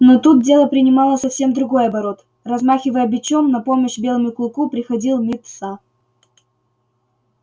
но тут дело принимало совсем другой оборот размахивая бичом на помощь белому клыку приходил мит са